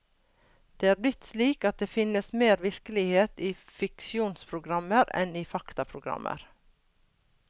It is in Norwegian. Det er blitt slik at det finnes mer virkelighet i fiksjonsprogrammer enn i faktaprogrammer.